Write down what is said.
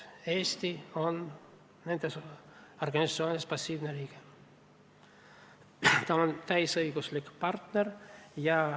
Eesti ei ole nende organisatsioonide passiivne liige, ta on täisõiguslik partner.